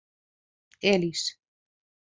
Elís